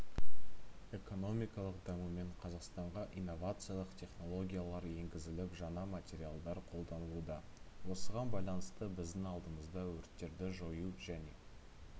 экономиканың дамуымен қазақстанға инновациялық технологиялар енгізіліп жаңа материалдар қолданылуда осыған байланысты біздің алдымызда өрттерді жою және